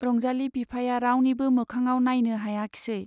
रंजाली बिफाया रावनिबो मोखाङाव नाइनो हायाखिसै।